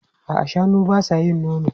A'a, shanun ba sa yin nono.